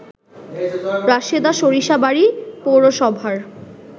রাশেদা সরিষাবাড়ি পৌরসভার